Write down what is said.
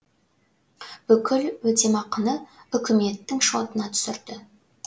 бүкіл өтемақыны үкіметтің шотына түсірді